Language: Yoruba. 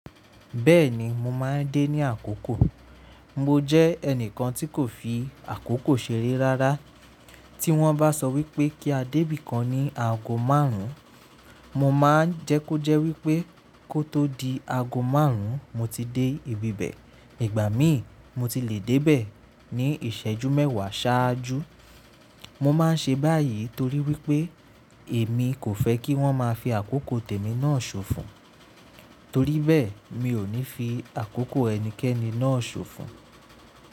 Bẹ́ẹ̀ni mo máa ń dé ní àkókò. Mo jẹ́ ẹnìkan tí kò fi àkókò ṣeré rárá. Tí wọ́n bá sọ wípé kí a dé bíkan ní ago márùn-ún, mo máa ń jẹ́ kó jẹ́ wípé kó tó di ago márùn-ún mo ti dé ibi bẹ́ẹ̀. Ìgbà míì mo ti le dé beẹ̀ ní ìṣẹ́jú mẹ́wàá ṣáájú. Mo máa ń ṣe báyìí torí wípé èmi kò fẹ́ kí wọ́n máa fi àkókò tèmi náà ṣòfò. Torí bẹ́ẹ̀ mi ò ní fi àkókò ẹnikẹ́ni náà ṣòfò.